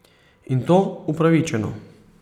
In to upravičeno.